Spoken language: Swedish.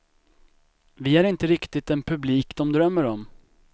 Vi är inte riktigt den publik de drömmer om.